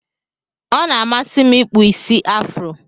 Ọna amasim ikpụ isi afro.